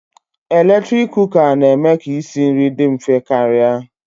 Eletrik Kụka na-eme ka isi nri dị mfe karịa